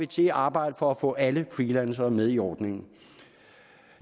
til at arbejde for at få alle freelancere med i ordningen